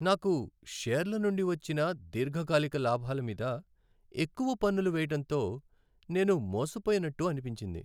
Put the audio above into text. నాకు షేర్ల నుండి వచ్చిన దీర్ఘకాలిక లాభాల మీద ఎక్కువ పన్నులు వేయటంతో నేను మోసపోయినట్టు అనిపించింది.